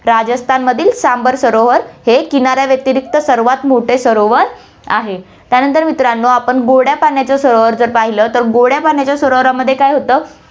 राजस्थानमधील सांभर सरोवर हे किनाऱ्या व्यतिरिक्त सर्वात मोठे सरोवर आहे, त्यानंतर मित्रांनो आपण गोड्यापाण्याचा सरोवर जर पाहिलं, तर गोड्यापाण्याच्या सरोवरामध्ये काय होतं